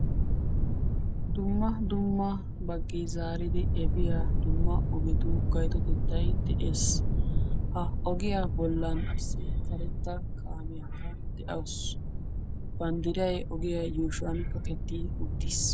dumma dumma baggi zaaridi efiyaa dumma ogetu gaytotettay de7ees. ha ogiyaa bollan issi karetta kaamiyaakka de7awusu. banddiray ogiyaa yuushuwan kaqettii uttiis.